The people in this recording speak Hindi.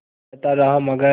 वो कहता रहा मगर